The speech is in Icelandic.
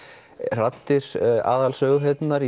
raddir aðalsöguhetjunnar